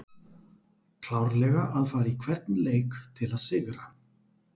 Klárlega að fara í hvern leik til að sigra!